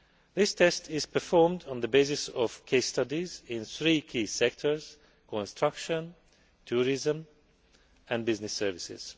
These tests are performed on the basis of case studies in three key sectors construction, tourism and business services.